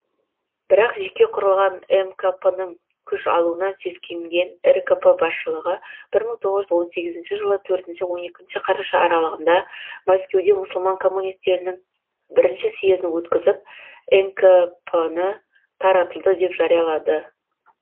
бірақ жеке құрылған мкп ның күш алуынан сескенген ркп басшылығы бір мың тоғыз жүз он сегізінші жылы төртінші он екінші қараша аралығында мәскеуде мұсылман коммунистерінің бірінші съезіне өткізіп мкп ны таратылды деп жариялады